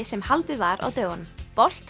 sem haldið var á dögunum